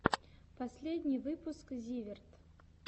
последний выпуск зиверт